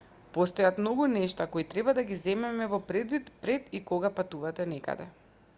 постојат многу нешта кои треба да ги земете во предвид пред и кога патувате некаде